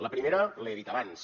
la primera l’he dit abans